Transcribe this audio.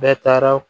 Bɛɛ taara